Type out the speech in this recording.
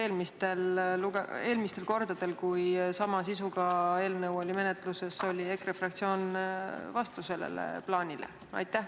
Minu teada eelmistel kordadel, kui sama sisuga eelnõu oli menetluses, oli EKRE fraktsioon sellele plaanile vastu.